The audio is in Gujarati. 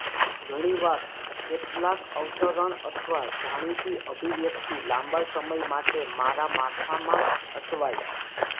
ઘણી વાર કેટલાક અવતરણ અથવા જાણીતી અભિવ્યક્તિ લાંબા સમય માટે મારા માથા માં અટવાઇ